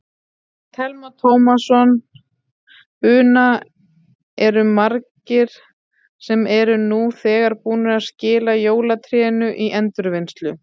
Telma Tómasson: Una, eru margir sem eru nú þegar búnir að skila jólatrénu í endurvinnslu?